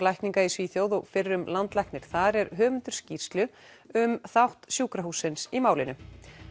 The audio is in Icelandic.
lækninga í Svíþjóð og fyrrum landlæknir þar er höfundur skýrslu um þátt sjúkrahússins í málinu